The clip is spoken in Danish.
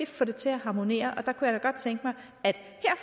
få det til at harmonere